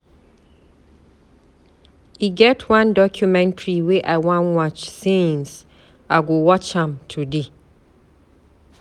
E get one documentary wey I wan watch since, I go watch am today.